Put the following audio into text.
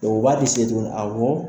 u b'a di se tigiw ma awɔ.